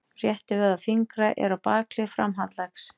Réttivöðvar fingra eru á bakhlið framhandleggs.